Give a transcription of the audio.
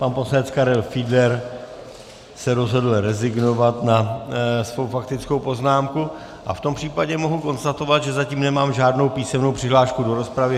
Pan poslanec Karel Fiedler se rozhodl rezignovat na svou faktickou poznámku a v tom případě mohu konstatovat, že zatím nemám žádnou písemnou přihlášku do rozpravy.